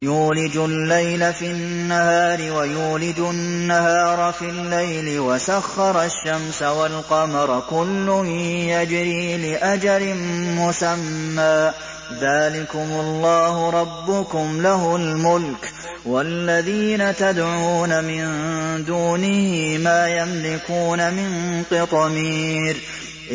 يُولِجُ اللَّيْلَ فِي النَّهَارِ وَيُولِجُ النَّهَارَ فِي اللَّيْلِ وَسَخَّرَ الشَّمْسَ وَالْقَمَرَ كُلٌّ يَجْرِي لِأَجَلٍ مُّسَمًّى ۚ ذَٰلِكُمُ اللَّهُ رَبُّكُمْ لَهُ الْمُلْكُ ۚ وَالَّذِينَ تَدْعُونَ مِن دُونِهِ مَا يَمْلِكُونَ مِن قِطْمِيرٍ